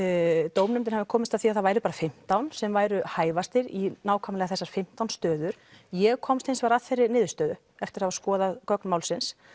dómnefndin hafi komist að því að það væru bara fimmtán sem væru hæfastir í nákvæmlega þessar fimmtán stöður ég komst hins vegar að þeirri niðurstöðu eftir að hafa skoðað gögn málsins